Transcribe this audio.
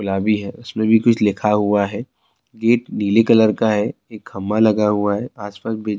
گلابی ہے۔ اسمے بھی کچھ لکھا ہوا ہے۔ گیٹ نیلے کلر کا ہے۔ ایک کھمبا لگا ہوا ہے۔ اس پاس بی--